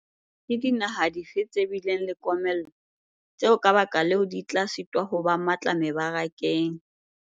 Ke dinaha dife tse bileng le komello, tseo ka baka leo di tla sitwa ho ba matla mebarakeng?